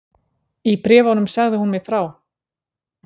Í bréfunum sagði hún mér frá